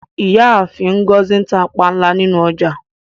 Ìyáàfin Ngozi n tà pànla nínu ọjà.